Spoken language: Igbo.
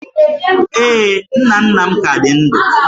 Ee, nna nna m ka dị ndụ